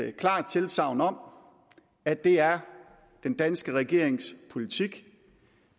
klart tilsagn om at det er den danske regerings politik